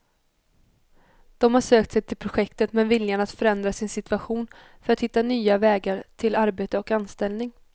De har sökt sig till projektet med viljan att förändra sin situation för att hitta nya vägar till arbete och anställning.